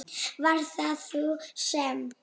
Var það hún sem.?